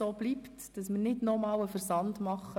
Wir werden die Unterlagen nicht noch einmal versenden.